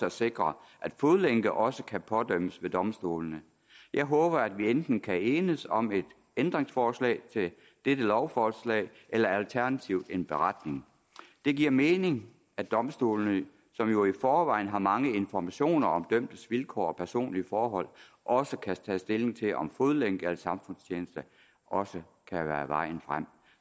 at sikre at fodlænker også kan pådømmes ved domstolene jeg håber at vi enten kan enes om et ændringsforslag til dette lovforslag eller alternativt en beretning det giver mening at domstolene som jo i forvejen har mange informationer om dømtes vilkår og personlige forhold også kan tage stilling til om fodlænke eller samfundstjeneste også kan være vejen frem